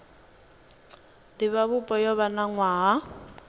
divhavhupo yo vha na nwaha